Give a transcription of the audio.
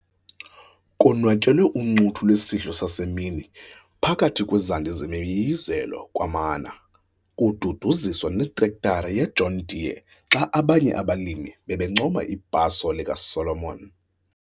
Konwatyelwe uncuthu lwesidlo sasemini phakathi kwezandi zemiyiyizelo kwamana kududuziswa netrektara yeJohn Deere xa abanye abalimi bebencoma ibhaso likaSolomon.